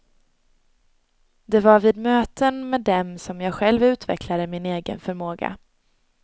Det var vid möten med dem som jag själv utvecklade min egen förmåga.